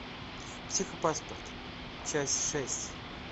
психопаспорт часть шесть